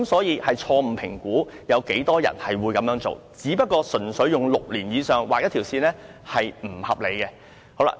因此，政府錯誤評估有多少人會這樣做，純粹用6年以上來劃線，是不合理的。